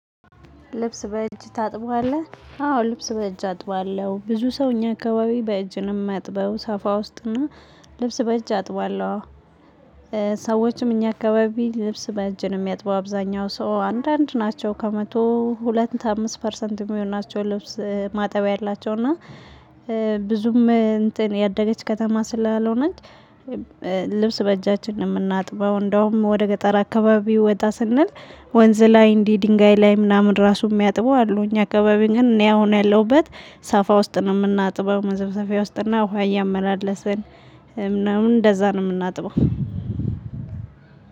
ልብስ በእጅ ታጥባለህ አዎ ልብስ በእጅ አጥባለሁ ብዙ ሰው እኛ አካባቢ በእጅ ሚያጥበው ሳፋ ውስጥ እና ልብስ በእጅ አጥባለሁ። ሰዎችም እኛ አካባቢ ልብስ በእጅ ነው የሚያጥበው አብዛኛው ሰው አንዳንድ ናቸው ከመቶ ሁለት አምስት ፐርሰንት የሚሆን ናቸው። ልብስ ማጠቢያ ያላቸው እና ብዙም እንትን ያደገች ከተማ ስላልሆነች ልብስ በእጃችን ነው ምናጥበው። እንደውም ወደ ገጠር አካባቢ ወጣ ስንል ወንዝ ላይ እንዲህ ድንጋይ ላይ ምናምን ራሱ የሚያጥቡ አሉ። እኛ አካባቢ ግን እኔ አሁን ያለሁበት ሳፋ ውስጥ ነው ምናጥበው። መዘፍዘፊያ ውስጥ እና ውሃ እያመላለስን ምናምን እንደዛ ነው የምናጥበው።